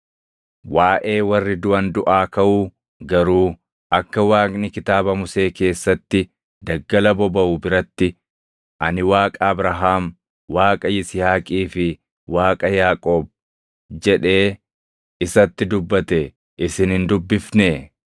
Waaʼee warri duʼan duʼaa kaʼuu garuu akka Waaqni Kitaaba Musee keessatti, daggala bobaʼu biratti, ‘Ani Waaqa Abrahaam, Waaqa Yisihaaqii fi Waaqa Yaaqoob’ + 12:26 \+xt Bau 3:6\+xt* jedhee isatti dubbate isin hin dubbifnee?